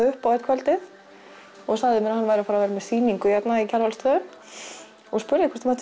upp á eitt kvöldið og sagðist vera með sýningu á Kjarvalsstöðum og spurði hvort hann